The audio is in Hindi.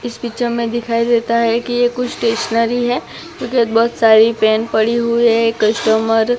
इस पिक्चर में दिखाई देता है की ये कुछ स्टेशनरी है क्योंकी बहोत सारी पेन पड़ी हुई है कस्टमर --